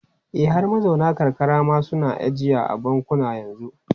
E, har mazauna karkara ma suna ajiya a bankuna yanzu.